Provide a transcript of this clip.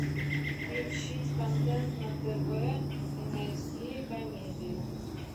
включить контент на тв и найти комедию